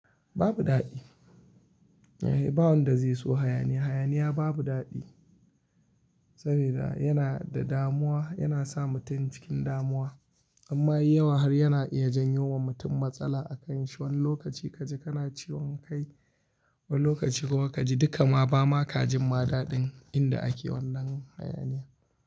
Babu daɗi. Ba wanda zai so hayaniya. Hayaniya babu daɗi, sabida yana da damuwa, yana sa mutum cikin damuwa. Amma yawa har yana iya janyo wa mutum matsala a kanshi. Wani lokaci kaji kana ciwon kai, wani lokaci kuma kaji dukka ma bama ka jin ma daɗin inda ake wannan hayaniya.